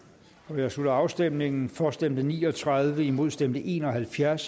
jeg slutter afstemningen for stemte ni og tredive imod stemte en og halvfjerds